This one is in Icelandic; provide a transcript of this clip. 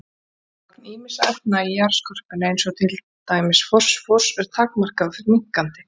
Magn ýmissa efna í jarðskorpunni eins og til dæmis fosfórs er takmarkað og fer minnkandi.